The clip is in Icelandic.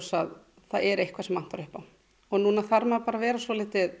að það er eitthvað sem vantar upp á núna þarf maður bara að vera svolítið